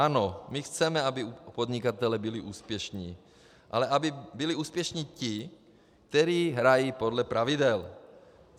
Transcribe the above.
Ano, my chceme, aby podnikatelé byli úspěšní, ale aby byli úspěšní ti, kteří hrají podle pravidel.